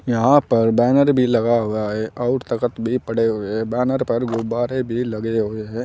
यहां पर बैनर भी लगा हुआ है और तखत भी पड़े हुए बैनर पर गुब्बारे भी लगे हुए हैं।